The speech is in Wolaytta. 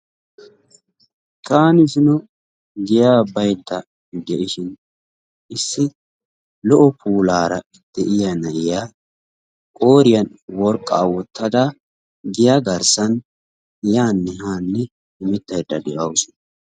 Taani zino giyaa baydda de'ishin issi lo"o puulaara de'iyaa na'iyaa qooriyaan worqqaa woottada giya garssaan yaanne haanne hemettayda de'awusu.